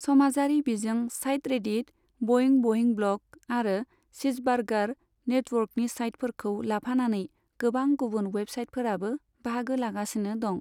समाजारि बिजों site Reddit, बइं बइं ब्लग आरो चिजबार्गार नेटवर्कनि साइटफोरखौ लाफानानै गोबां गुबुन वेबसाइटफोराबो बाहागो लागासिनो दं।